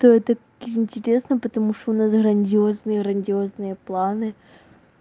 ты это интересно потому что у нас грандиозные грандиозные планы